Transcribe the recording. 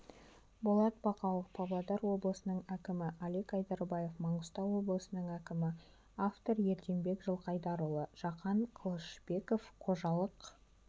болат бақауов павлодар облысының әкімі алик айдарбаев маңғыстау облысының әкімі автор ерденбек жылқайдарұлы жақан қылышбеков қожалық